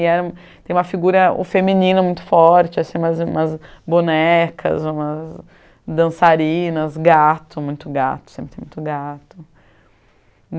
E era um, tem uma figura o feminina muito forte assim, umas bonecas, umas dançarinas, gato, muito gato, sempre tem muito gato.